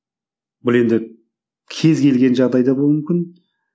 бұл енді кез келген жағдайда болуы мүмкін